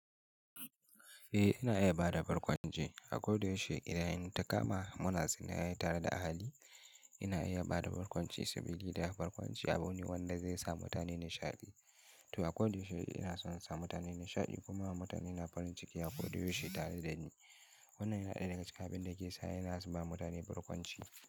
Eh ina iya bada barkwanci, akodayaushe idan in takama muna zaune tare da ahali, ina iya bada barkwanci saboda barkwanci abu ne wanda zai sa mutane nishadi. To akodayaushe ina son sa mutane nishadi kuma mutane na farin ciki akodayaushe tare da ni. Wannan yana ɗaya daga cikin abinda ke sa ina ba mutane barkwanci.